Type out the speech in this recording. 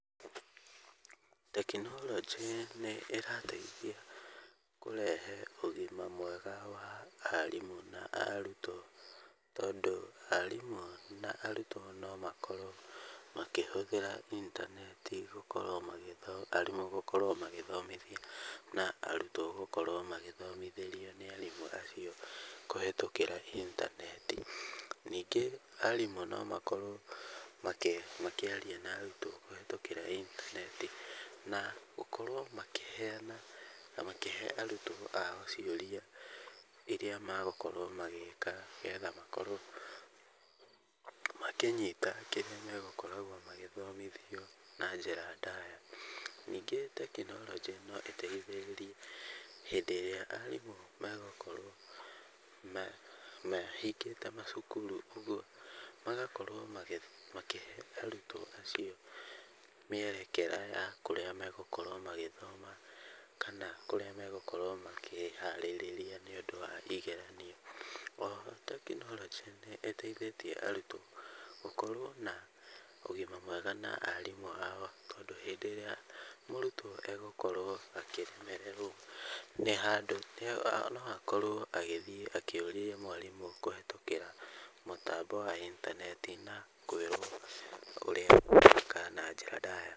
Tekinoronjĩ nĩ ĩrateithia kũrehe ũgima mwega wa arimũ na arutwo tondũ arimũ na arutwo no makorwo makĩhũthĩra intaneti arimũ gũkorwo magĩthoma na arutwo gũkorwo magĩthomithĩrio nĩ arimũ acio kũhĩtũkĩra intaneti. Ningĩ arimũ no makorwo makĩaria na arutwo kũhĩtũkĩra intaneti na gũkorwo makĩheana na makĩhe arutwo ao ciũria ĩrĩa magũkorwo magĩka nĩgetha makorwo makĩnyita kĩrĩa magokoragwo magĩthomithio na njĩra ndaya. Ningĩ tekinoronjĩ no ĩteithĩrĩrie hĩndĩ ĩrĩa arimũ megũkorwo mahingĩte macukuru ũguo magakorwo makĩhe arutwo acio mĩerekera ya kũrĩa megũkorwo magĩthoma, kana kũrĩa megũkorwo makĩharĩrĩria nĩ ũndũ wa igeranio. O ho tekinoronjĩ nĩ ĩteithĩtie arutwo gũkorwo na ũgima mwega na arimũ ao, tondũ hĩndĩ ĩrĩa mũrutwo egũkorwo akĩremererwo nĩ handũ, no akorwo agĩthiĩ akĩũria mwarimũ kũhĩtũkĩra mũtambo wa intaneti na kwĩrwo ũrĩa egwĩka na njĩra ndaya.